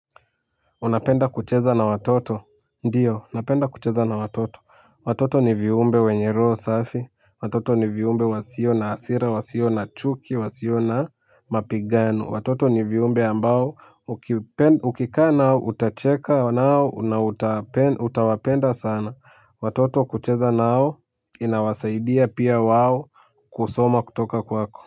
Unapenda kucheza na watoto. Ndiyo, napenda kucheza na watoto. Watoto ni viumbe wenye roho safi. Watoto ni viumbe wasio na asira, wasio na chuki, wasio na mapigano. Watoto ni viumbe ambao, ukika nao utacheka nao na utawapenda sana watoto kucheza nao inawasaidia pia wao kusoma kutoka kwako.